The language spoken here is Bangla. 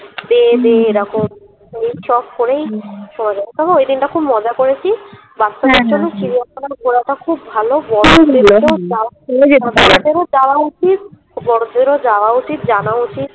এরকম এই চট করেই তবে ঐদিনটা খুব মজা করেছি বাচ্চাদের জন্য চিড়িয়াখানা ঘোড়াটা খুব ভালো খুব বড়ো বাচ্চাদের ও যাওয়া উচিত বড়োদের ও যাওয়া উচিত জানা উচিত